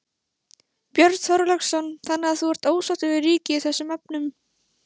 Björn Þorláksson: Þannig að þú ert ósáttur við ríkið í þessum efnum?